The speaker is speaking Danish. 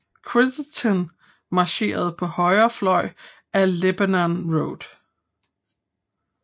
Crittenden marcherede på højre fløj ad Lebanon Road